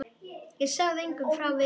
Ég sagði engum frá Viðari.